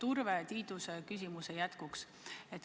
Urve Tiiduse küsimuse jätkuks.